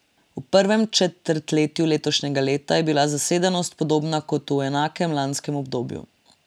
V prvem četrtletju letošnjega leta je bila zasedenost podobna kot v enakem lanskem obdobju.